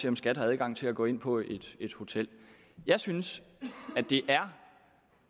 om skat har adgang til at gå ind på et et hotel jeg synes at det er